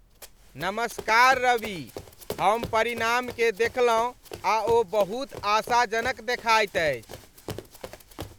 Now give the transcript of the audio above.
नमस्कार रवि, हम परिणामकेँ देखलहुँ आ ओ बहुत आशाजनक देखाइत अछि।